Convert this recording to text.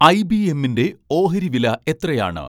I . B . എംമ്മിന്റെ ഓഹരി വില എത്രയാണ്